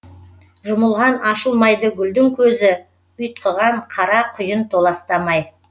жұмылған ашылмайды гүлдің көзі ұйтқыған қара құйын толастамай